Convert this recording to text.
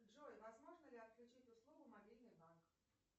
джой возможно ли отключить услугу мобильный банк